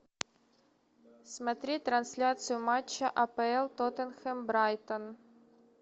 смотреть трансляцию матча апл тоттенхэм брайтон